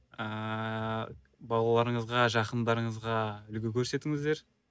ы балаларыңызға жақындарыңызға үлгі көрсетіңіздер